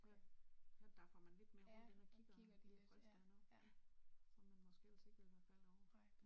Ja, her daffer man lidt mere rundt inde og kigger kunne det passe der er noget, som man måske ellers ikke ville være faldet over